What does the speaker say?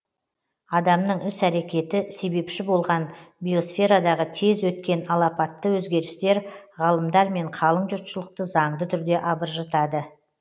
адамның іс әрекеті себепші болған биосферадағы тез өткен алапатты өзгерістер ғалымдар мен қалың жұртшылықты заңды түрде абыржытады